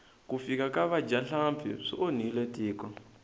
ku fika ka vadyahlampfi swi onhile tiko